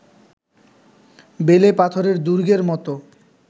বেলে পাথরের দুর্গের মতো